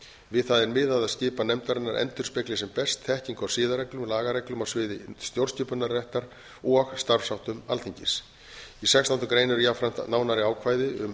við það er miðað að skipan nefndarinnar endurspegli sem best þekkingu á siðareglum og lagareglum á sviði stjórnskipunarréttar og starfsháttum alþingis í sextándu grein er jafnframt nánari ákvæði um